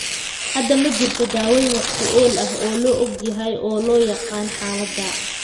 Hadda ma jirto daaweyn wax ku ool ah oo la og yahay oo loo yaqaan xaaladda.